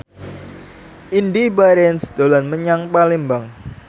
Indy Barens dolan menyang Palembang